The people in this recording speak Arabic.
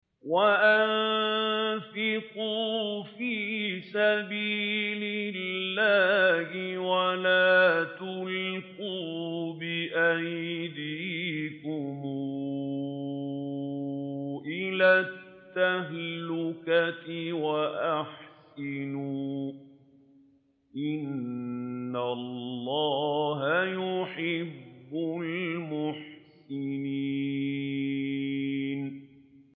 وَأَنفِقُوا فِي سَبِيلِ اللَّهِ وَلَا تُلْقُوا بِأَيْدِيكُمْ إِلَى التَّهْلُكَةِ ۛ وَأَحْسِنُوا ۛ إِنَّ اللَّهَ يُحِبُّ الْمُحْسِنِينَ